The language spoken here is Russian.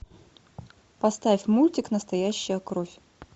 поставь мультик настоящая кровь